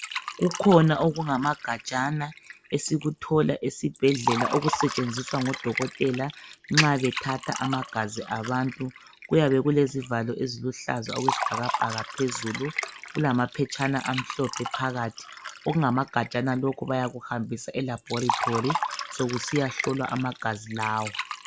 Kukhona okungamagajana esikuthola esibhedlela okusetshenziswa ngodokotela nxa bethatha amagazi abantu. Kuyabe kulezivalo eziluhlaza okwesibhakabhaka phezulu kulamaphetshana amhlophe phakathi. Okungamagajana lokhu bayakuhambisa emalaboratory sokusiyahlolwa amagazi lawa.